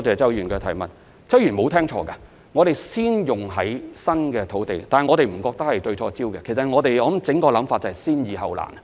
周議員沒有聽錯，我們會先用於新批土地，但我們並不認為這是對焦錯誤，我們整體的想法是先易後難。